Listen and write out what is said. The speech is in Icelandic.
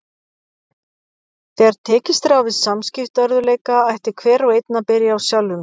Þegar tekist er á við samskiptaörðugleika ætti hver og einn að byrja á sjálfum sér.